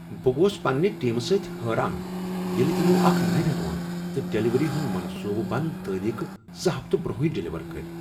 بہٕ گوس پنٛنہ ٹیٖمہٕ سۭتۍ حٲران ییٚلہ تمو اکھ نویر اوٚن تہٕ ڈلوری ہٕنٛد منصوٗبہ بنٛد تٲریخہ زٕ ہفتہٕ برٛۄنٛہٕے ڈلوری کٔر۔